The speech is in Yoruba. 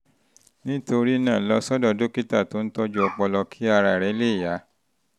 nítorí náà lọ sọ́dọ̀ dókítà tó ń tọ́jú ọpọlọ kí ara rẹ lè yá